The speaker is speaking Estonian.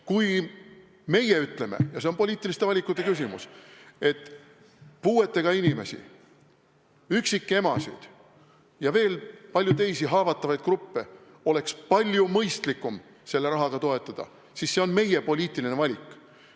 Kui meie ütleme – ja see on poliitiliste valikute küsimus –, et puuetega inimesi, üksikemasid ja veel paljusid teisi haavatavaid gruppe oleks palju mõistlikum selle rahaga toetada, siis see on meie poliitiline valik.